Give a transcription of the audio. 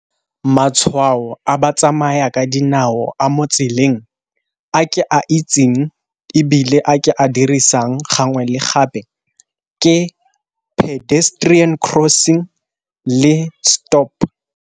Matshwao a ba tsamaya ka dinao a mo tseleng a ke a itseng, ebile a ke a dirisang gangwe le gape ke pedestrian crossing le stop.